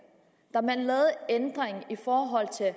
da man lavede ændringen i forhold til